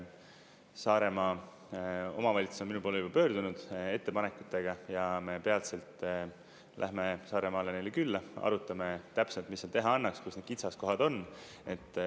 Saaremaa omavalitsus on minu poole juba pöördunud ettepanekutega ja me peatselt läheme Saaremaale neile külla, arutame täpselt, mis seal teha annaks, kus need kitsaskohad on.